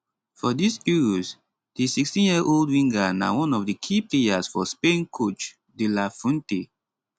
for dis euros di 16yearold winger na one of di key players for spain coach de la fuente